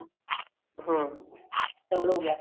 ਹਮ double ਹੋਗਿਆ